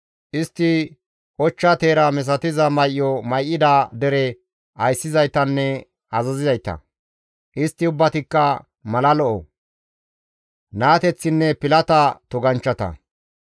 Istti ochcha teera misatiza may7o may7ida dere ayssizaytanne azazizayta; istti ubbatikka mala lo7o, naateththinne pilata toganchchata.